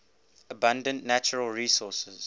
abundant natural resources